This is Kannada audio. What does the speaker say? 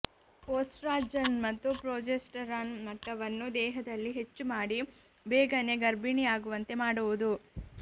ಒಸ್ಟ್ರಾಜನ್ ಮತ್ತು ಪ್ರೊಜೆಸ್ಟರಾನ್ ಮಟ್ಟವನ್ನು ದೇಹದಲ್ಲಿ ಹೆಚ್ಚು ಮಾಡಿ ಬೇಗನೆ ಗರ್ಭಿಣಿಯಾಗುವಂತೆ ಮಾಡುವುದು